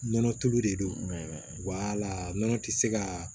Nɔnɔ tulu de don wala nɔnɔ ti se ka